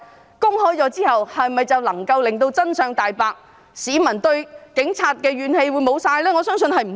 報告公開後，是否便能令真相大白，市民對警察怨氣全消？